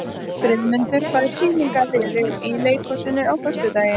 Friðmundur, hvaða sýningar eru í leikhúsinu á föstudaginn?